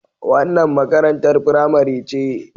Wannan makarantar firamare ce.